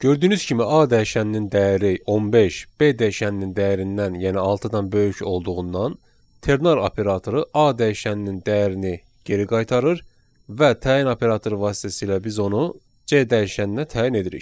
Gördüyünüz kimi A dəyişəninin dəyəri 15, B dəyişəninin dəyərindən, yəni 6-dan böyük olduğundan, ternar operatoru A dəyişəninin dəyərini geri qaytarır və təyin operatoru vasitəsilə biz onu C dəyişəninə təyin edirik.